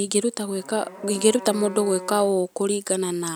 Ingĩruta gwĩka, ingĩruta mũndũ gwĩka ũũ kũringana na